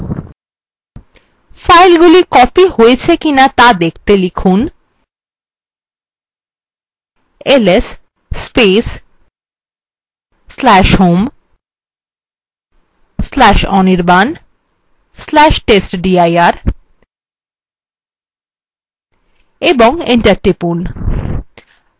ফাইলগুলি copied হয়েছে কিনা ত়া দেখতে লিখুন ls/home/anirban/testdir এবং enter টিপুন